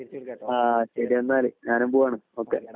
ആഹ് ശരിയെന്നാൽ ഞാൻ പോകുകയാണ് ഓക്കേ